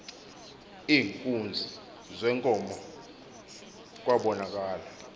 iinkunzi zeenkomo kwabonakala